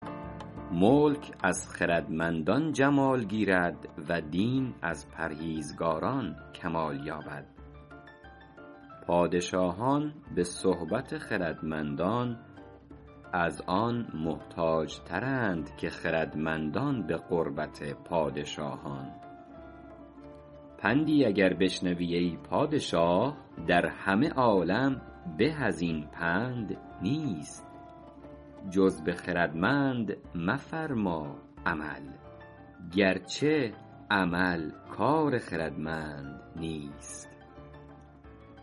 ملک از خردمندان جمال گیرد و دین از پرهیزگاران کمال یابد پادشاهان به صحبت خردمندان از آن محتاج ترند که خردمندان به قربت پادشاهان پندی اگر بشنوی ای پادشاه در همه عالم به از این پند نیست جز به خردمند مفرما عمل گرچه عمل کار خردمند نیست